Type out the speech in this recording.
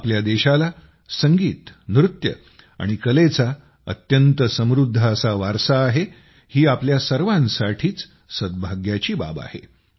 आमच्या देशाला संगीत नृत्य आणि कलेची अत्यंत समृद्ध असा वारसा आहे ही आमच्या सर्वांसाठीच सद्भाग्याची बाब आहे